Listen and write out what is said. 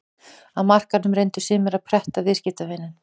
Á markaðnum reyndu sumir að pretta viðskiptavininn.